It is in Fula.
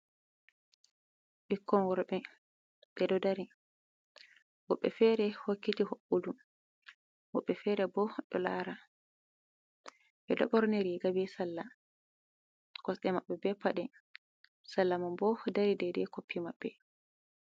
Ɓikkon worbe ɓedo dari woɓbe fere hokkiti hoɓɓudu, woɓɓe fere bo ɗo lara. Ɓeɗo ɓorni riga be salla, kosɗe maɓɓe be pade salla man bo dari dede koppi maɓɓe.